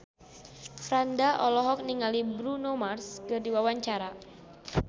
Franda olohok ningali Bruno Mars keur diwawancara